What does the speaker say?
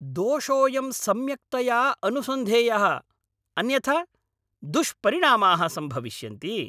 दोषोऽयं सम्यक्तया अनुसन्धेयः, अन्यथा दुष्परिणामाः सम्भविष्यन्ति!